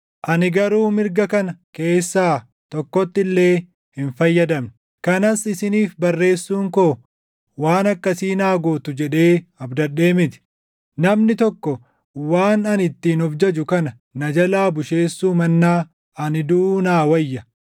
Ani garuu mirga kana keessaa tokkotti illee hin fayyadamne. Kanas isiniif barreessuun koo waan akkasii naa gootu jedhee abdadhee miti. Namni tokko waan ani ittiin of jaju kana na jalaa busheessuu mannaa ani duʼuu naa wayya!